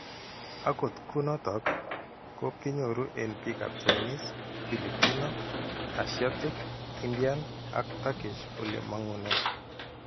Akot kunotok, ko kinyoru eng' biikap Chinese, Filipino, Asiatic Indian ak Turkish ole mang'une.